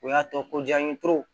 O y'a tɔ ko jaabi